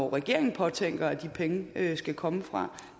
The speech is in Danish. regeringen har tænkt sig at de penge skal komme fra